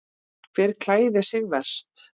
Hver klæðir sig verst?